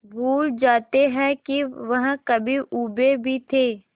भूल जाते हैं कि वह कभी ऊबे भी थे